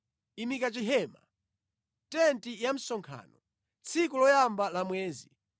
“Imika chihema, tenti ya msonkhano, tsiku loyamba la mwezi.